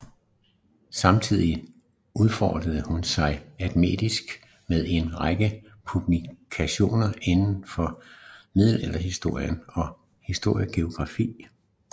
Samtidig udfoldede hun sig akademisk med en række publikationer inden for middelalderhistorie og historiografi